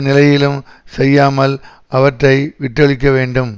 நிலையிலும் செய்யாமல் அவற்றை விட்டொழிக்க வேண்டும்